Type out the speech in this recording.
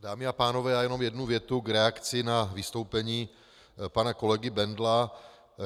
Dámy a pánové, já jenom jednu větu k reakci na vystoupení pana kolegy Bendla.